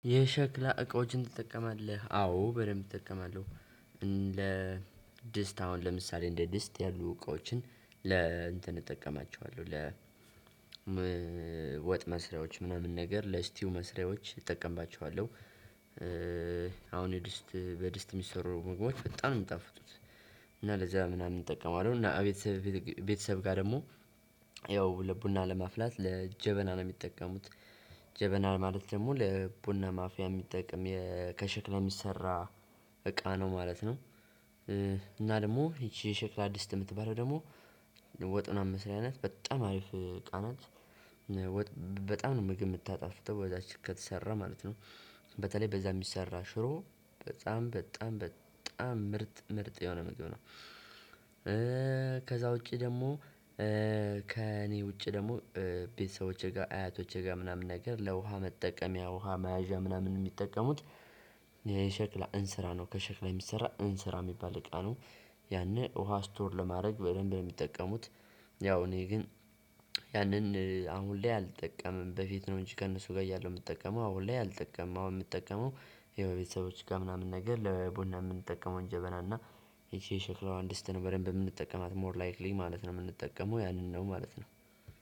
የሸክላ እቃዎችን ትጠቀማለህ አዎ በደንብ እጠቀማለሁ። ድስት አሁን ለምሳሌ እንደ ድስት ያሉ እቃዎችን ለ እንትን እጠቀማቸዋለሁ ለ ወጥ መስሪያዎች ምናምን ነገር ለስቲው መስሪያዎች እጠቀምባቸዋለሁ። አሁን የድስት በድስት የሚሰሩ ምግቦች በጣም ነው የሚጣፍጡት። እና ለዛ ምናምን እጠቀመዋለሁ እና ቤተሰብ ቤተሰብ ጋር ደግሞ ያው ለቡና ለማፍላት ለጀበና ነው የሚጠቀሙት። ጀበና ማለት ደግሞ ለቡና ማፍያ የሚጠቅም ከሸክላ የሚሰራ እቃ ነው ማለት ነው። እና ደግሞ ይቺ የሸክላ ዲስት የምትባለው ደግሞ ወጥ ምናምን መስሪያ ናት በጣም አሪፍ እቃ ናት። በጣም ነው ምግብ የምታጣፍጠው በዛቺ ከተሰራ ማለት ነው። በተለይ በዛ የሚሰራ ሽሮ በጣም በጣም በጣም ምርጥ ምርጥ የሆነ ምግብ ነው። ከዛ ውጪ ደግሞ ከእኔ ውጪ ደግሞ ቤተሰቦቼ ጋር አያቶቼ ጋር ምናምን ነገር ለውሃ መጠቀም ውሃ መያዣ ምናምን የሚጠቀሙት። የሸክላ እንስራ ነው ከሸክላ የሚሰራ እንስራ የሚባል እቃ ነው። ያንን ውሃ ስቶር ለማድረግ በደንብ ነው የሚጠቀሙት። ያው እኔ ግን ያንን አሁን ላይ አልጠቀምም በፊት ነው እንጂ ከእነሱ ጋር እያለሁ የምጠቀመው አሁን ላይ አልጠቀምም። አሁን የምጠቀመው የቤተሰቦች ጋር ምናምን ነገር ለቡና የምንጠቀመውን ጀበና እና ይቺ የሸክላዋን ድስት ነው የምንጠቀማው ሞር ላይክሊ ማለት ነው የምንጠቀመው ያንን ነው ማለት ነው።